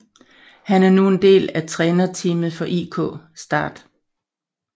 Han er nu en del af trænerteamet for IK Start